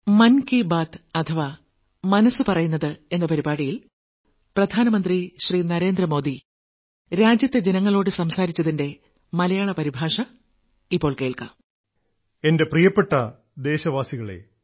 എൻറെ പ്രിയപ്പെട്ട ദേശവാസികളെ